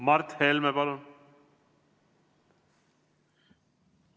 Mart Helme, palun!